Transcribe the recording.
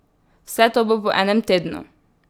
Vse to bo po enem tednu!